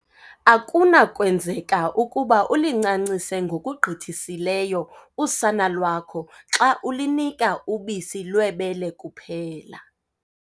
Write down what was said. Akuna kwenzeka ukuba ulincancise ngokugqithisileyo usana lwakho xa ulunika ubisi lwebele kuphela.